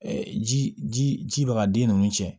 ji ba ka den ninnu cɛn